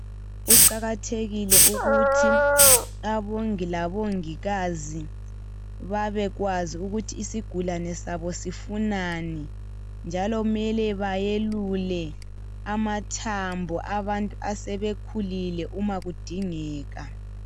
Kuqakathekile ukuthi abongi labongikazi babekwazi ukuthi isigulane sabo sifunani njalo mele bayelule amathambo abantu asebekhulile umakudingeka.